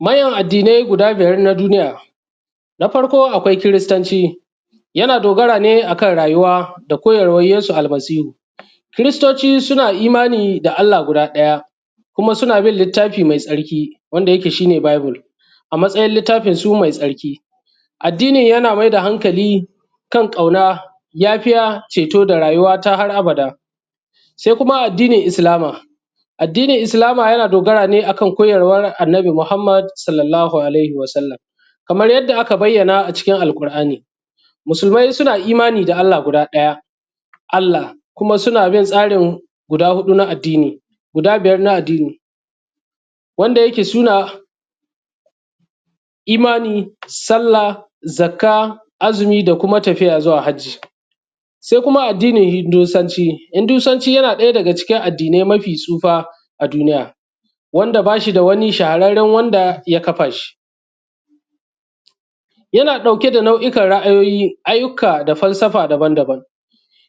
Manyan addinai guda biyar na duniya. Na farko akwai kiristanci, yana dogara ne a kan rayuwa koyarwan yesu almasihu. Kiristoci suna imani da Allah guda ɗaya kuma suna bin littafi mai tsarki wanda yake shi ne bible a matsayin littafin su mai tsarki. Addinin yana maida hankali kan ƙauna, yafiya, ceto da na rayuwar har abada. Sai kuma addinin isilama, addinin isilama yana dogara ne a kan koyarwan annabi Muhammad sallallahu alaihim wasallama, kamar yanda aka bayyana a cikin alƙurani. Musulmai suna imani da Allah guda ɗaya, Allah kuma suna bin tsarin guda huɗu na addini, guda biyar na addini, Wanda yake suna imani, sallah, zakka, azumi, da kuma tafiya zuwa hajji. Sai kuma addinin hindustanci, hindustanci yana ɗaya daga cikin addini mafi tsufa a duniya, wanda ba shi da wani shahararran wanda ya kafa shi, yana ɗauke da nau’ikan ra’ayoyi ayyuka da falsafa daban daban.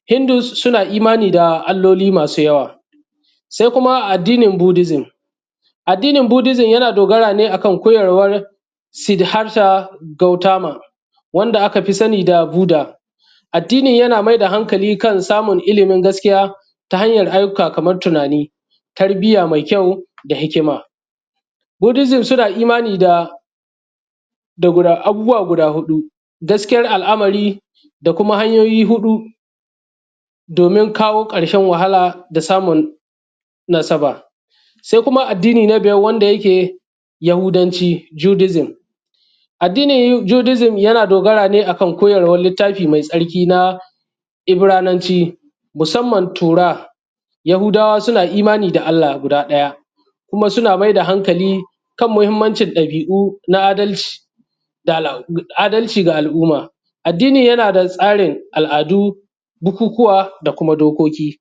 Hindus suna imani da alloli masu yawa. Sai kuma addinin budism, addinin budism yana dogara ne akan koyarwa sid hama Gautama. Wanda aka fi sani da buda. Addinin yana maida hankali kan samun ilimin gaskiya ta hanyar ayyuka kamar tunani, tarbiyya mai kyau, da hikima. Budism suna imani da abubuwa guda huɗu gaskiyar al’amari, da kuma hanyoyi huɗu domin kawo ƙarshen wahala, da samun nasaba. Sai kuma addini na biyar wanda yake yahudanci judism, addinin judism yana dogara ne a kan koyarwan littafi mai tsarki na ibrananci, musamman tura yahudawa suna imani da Allah guda ɗaya kuma suna maida hankali kan muhimmancin ɗabi’u na adalci ga al’umma. Addinin yana da tsarin al’adu, bukukuwa da kuma dokoki.